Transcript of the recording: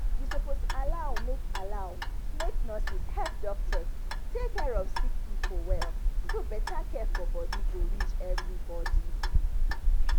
you suppose allow make allow make nurses help doctors take care of sick pipo well so better care for body go reach everybody